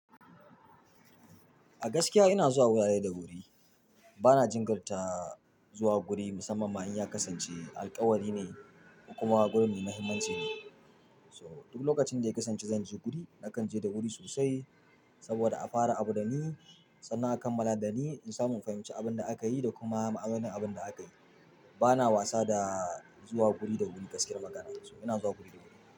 A gaskiya ina zuwa wurare da wuri. Bana jingirta zuwa guri musamma ma in ya kasance alkawari ne, ko kuma gurin mai muhimmanci ne. So duk lokacin da ya kasance zan je guri, na kan je da wuri sosai saboda a fara abu da ni sannan a kammala da ni in samu in fahimci abun da aka yi da kuma ma'anonin abin da aka yi. Bana wasa da zuwa guri da wuri gaskiyar magana so ina zuwa guri da wuri.